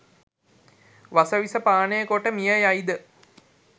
වස විෂ පානය කොට මිය යයිද